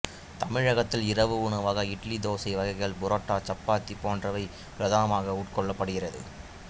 தமிழகத்தில் இரவு உணவாக இட்லி தோசை வகைகள் புரோட்டா சப்பாத்தி போன்றவை பிரதானமாக உட்கொள்ளப்படுகிறது